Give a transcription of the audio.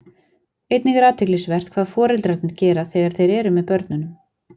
Einnig er athyglisvert hvað foreldrarnir gera þegar þeir eru með börnunum.